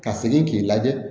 Ka segin k'i lajɛ